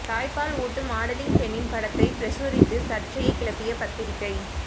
தாய்ப்பால் ஊட்டும் மாடலிங் பெண்ணின் படத்தை பிரசுரித்து சர்ச்சையை கிளப்பிய பத்திரிகை